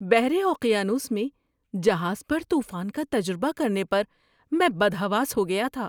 بحر اوقیانوس میں جہاز پر طوفان کا تجربہ کرنے پر میں بدحواس ہو گیا تھا!